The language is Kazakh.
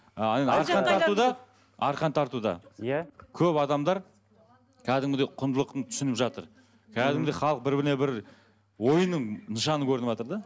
ы арқан тартуда иә көп адамдар кәдімгідей құндылықты түсініп жатыр кәдімгідей халық бір біріне бір ойынның нышаны көрініватыр да